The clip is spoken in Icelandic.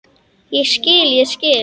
Ég skil, ég skil.